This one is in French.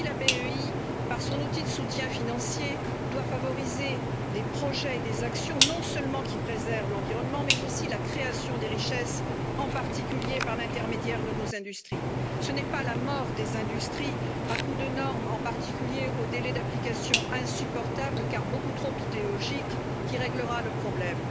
Ainsi, la BEI, par son outil de soutien financier, doit favoriser des projets et des actions, qui, non seulement, préservent l'environnement, mais permette la création de richesse, en particulier par l'intermédiaire de nos industries. Ce n'est pas la mort des industries à coups de normes, ou de délais d'application insupportables car beaucoup trop idéologiques, qui réglera le problème.